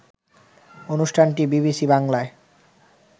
অনুষ্ঠানটি বিবিসি বাংলায়